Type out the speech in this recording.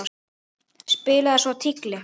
Spilaði svo tígli.